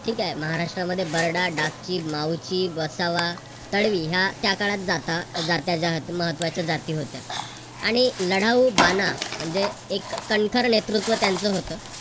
ठीक आहे. महाराष्ट्रामध्ये बरडा, डाकची, माऊची, वसावा, तडवी या त्या काळात जाता महत्त्वाच्या जाती होत्या. आणि लढाऊ बाणा म्हणजे एक कणखर नेतृत्व त्यांचं होतं.